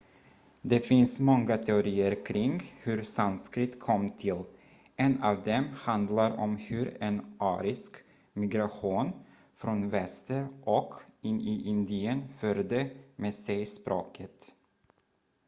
det finns många teorier kring hur sanskrit kom till en av dem handlar om hur en arisk migration från väster och in i indien förde med sig språket